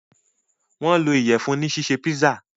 wón lò Iyẹ̀fun ní ṣiṣe pizza.